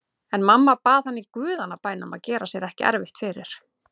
En mamma bað hann í guðanna bænum að gera sér ekki erfitt fyrir.